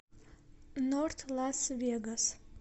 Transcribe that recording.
норт лас вегас